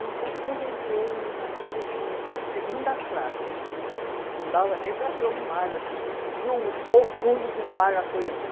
Então, quando eu entrei no navio, eu disse, segunda classe, não dava nem para ver o mar assim, a gente viu só o fundo do mar, uma coisa assim.